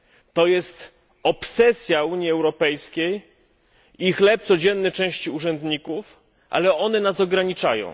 To jest obsesja Unii Europejskiej i chleb codzienny części urzędników, ale one nas ograniczają.